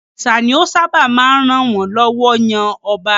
Òrìṣà ni ó sábà máa ń ràn wọ́n lọ́wọ́ yan ọba.